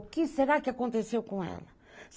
O que será que aconteceu com ela?